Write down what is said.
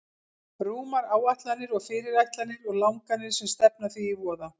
Rúmar áætlanir og fyrirætlanir og langanir sem stefna því í voða.